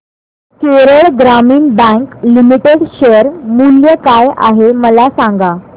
Kerala Gramin bank limited share मूल्य काय आहे मला सांगा